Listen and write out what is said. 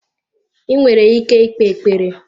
I nwere ike ikpe ekpere?